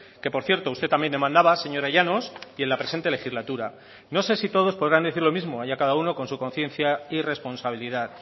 que por cierto usted también demandaba señora llanos y en la presente legislatura no sé si todos podrán decir lo mismo allá cada uno con su conciencia y responsabilidad